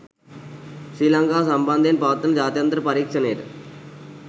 ශ්‍රී ලංකාව සම්බන්ධයෙන් පවත්වන ජාත්‍යන්තර පරීක්ෂණයට